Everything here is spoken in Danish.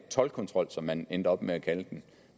toldkontrol som man endte op med at kalde den